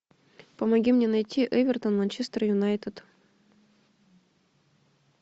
помоги мне найти эвертон манчестер юнайтед